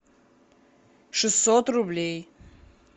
шестьсот рублей